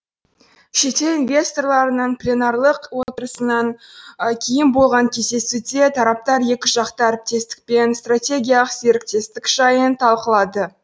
шетел инвесторларының пленарлық отырысынан кейін болған кездесуде тараптар екіжақты әріптестік пен стратегиялық серіктестік жайын талқылады